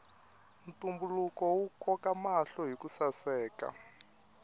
ntumbuluko wu koka mahlo hiku saseka